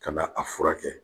Ka na a furakɛ